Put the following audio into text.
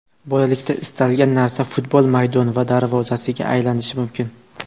Bolalikda istalgan narsa futbol maydon va darvozasiga aylanishi mumkin.